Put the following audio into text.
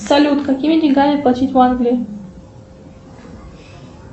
салют какими деньгами платить в англии